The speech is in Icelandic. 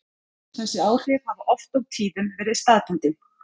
Þessi áhrif hafa oft og tíðum verið staðbundin.